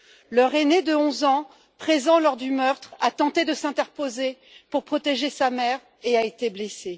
Leur aîné de 11 ans, présent lors du meurtre, a tenté de s'interposer pour protéger sa mère et a été blessé.